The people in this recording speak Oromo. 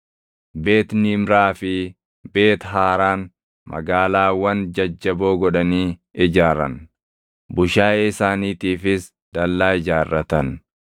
Beet Niimraa fi Beet haaraan magaalaawwan jajjaboo godhanii ijaaran. Bushaayee isaaniitiifis dallaa ijaarratan.